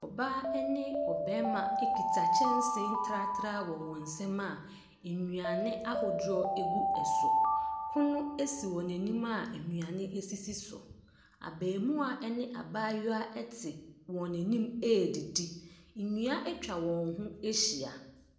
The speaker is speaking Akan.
Ɔbaa ne ɔbarima kita kyɛnsee tratra wɔ wɔn nsam a nnuane ahodoɔ gu so. Pono si wɔn anim a nnuane sisi so. Abarimaa ne abaayewa te wɔn anim redidi. Nnua atwa wɔn ho ahyia.